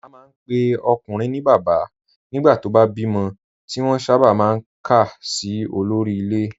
A máa ń pe ọkùnrin ní bàbá nígbà tó bá bímọ, tí wọ́n sábà máa ń kà sí olórí ilé